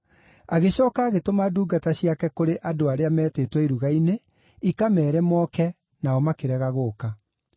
Agĩcooka agĩtũma ndungata ciake kũrĩ andũ arĩa meetĩtwo iruga-inĩ, ikameere moke, nao makĩrega gũũka.